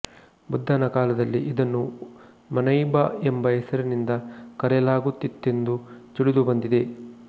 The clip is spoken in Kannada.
ಬುದ್ಧನ ಕಾಲದಲ್ಲಿ ಇದನ್ನು ಮನೈಭ ಎಂಬ ಹೆಸರಿನಿಂದ ಕರೆಯಲಾಗುತ್ತಿತ್ತೆಂದು ತಿಳಿದು ಬಂದಿದೆ